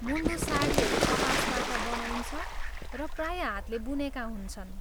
मुन्डू साडीहरू कपासबाट बनाइन्छ र प्राय हातले बुनेका हुन्छन्।